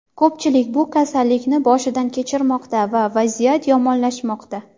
Ko‘pchilik bu kasallikni boshidan kechirmoqda va vaziyat yomonlashmoqda.